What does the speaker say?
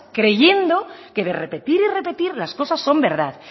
creyendo que de repetir y de repetir las cosas son verdad